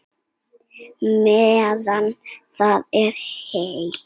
Meðan það er heitt.